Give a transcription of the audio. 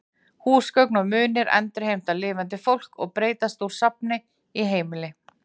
Húsgögn og munir endurheimta lifandi fólk og breytast úr safni í heimili.